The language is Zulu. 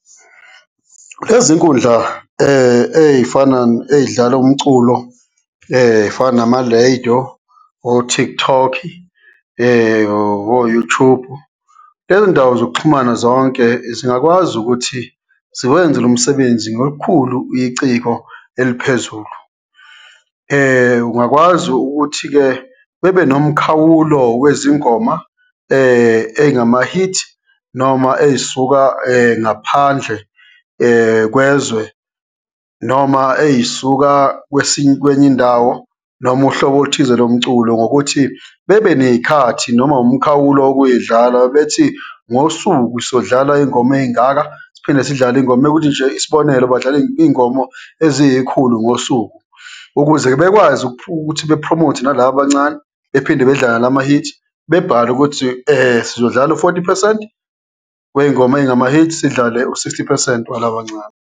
Lezinkundla ey'dlala umculo ey'fana nama lediyo, o-Tiktok-i, o-Youtube-u, lezo ndawo zokuxhumana zonke zingakwazi ukuthi ziwenze lomsebenzi ngolukhulu iciko eliphezulu. Ungakwazi ukuthi-ke bebe nomkhawulo wezingoma ey'ngama-hit noma ey'suka ngaphandle kwezwe noma ey'suka kwenye indawo noma uhlobo oluthize lomculo ngokuthi bebe ney'khathi noma umkhawulo wokuy'dlala bethi, ngosuku sodlala iy'ngoma ey'ngaka siphinde sidlale mekuthi nje isibonelo, badlala iy'ngoma eziyikhulu ngosuku ukuze bekwazi ukuthi be-promote-e nalaba abancane bephinde bedlale lama-hit, bebhale ukuthi sizodlala lo-forty percent wey'ngoma ey'ngama-hit, sidlale u-sixty percent walabancane.